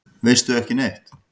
Veistu ekki neitt?